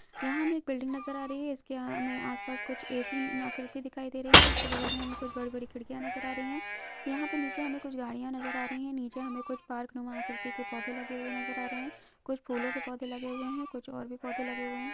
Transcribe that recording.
यहाँ हमे बिल्डिंग नजर आ रही है इसके यहाँ हमे आसपास कुछ आकृति दिखाई दे रही है इसके बगल में हमे कुछ बड़ी बड़ी खिड़किया नजर आ रही है यहाँ पे नीचे हमे कुछ गाड़िया नजर आ रही है नीचे हमे कुछ पार्क नुमा आकृति के पौधे लगे हुए नजर आ रहै है कुछ फूलों के पौधे लगे हुए है कुछ और भी पौधे लगे हुए हैं।